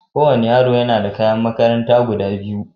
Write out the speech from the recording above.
Ko wani yaro na yana da kashi kayan makaranta guda biyu.